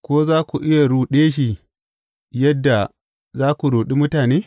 Ko za ku iya ruɗe shi yadda za ku ruɗi mutane?